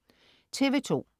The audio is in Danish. TV2: